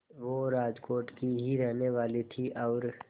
वो राजकोट की ही रहने वाली थीं और